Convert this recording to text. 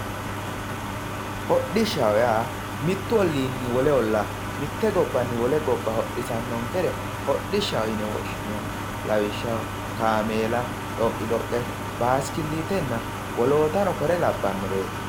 hodhishshaho yaa mittu olliinni wole ollaa mitte gobbanni wole gobba hodhisannonkere hodhishshaho yine woshshineemmo lawishshaho kaameela, xoqqi xoqqe, bayiisikiiliitanna wolootano kore labbannoreeti.